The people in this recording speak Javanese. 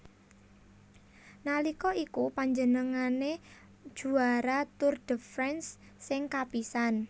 Nalika iku panjenengane juara Tour de France sing kapisan